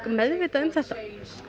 meðvitað um þetta